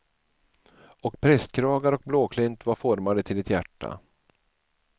Och prästkragar och blåklint var formade till ett hjärta.